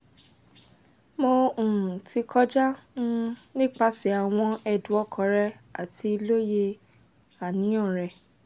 mo um ti kọja um nipasẹ awọn ẹdun ọkan rẹ ati loye aniyan rẹ